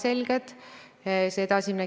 Täpsustav küsimus Jevgeni Ossinovskilt, palun!